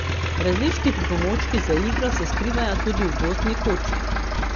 Različni pripomočki za igro se skrivajo tudi v gozdni koči.